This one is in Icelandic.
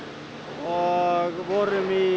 og vorum í